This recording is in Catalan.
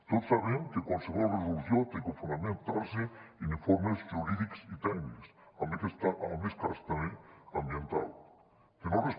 tots sabem que qualsevol resolució ha de fonamentar se en informes jurídics i tècnics en aquest cas també ambientals